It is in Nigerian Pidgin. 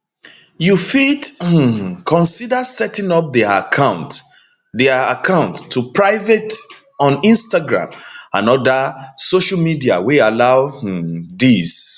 you fit um consider setting up dia accounts dia accounts to private on instagram and oda social media wey allow um dis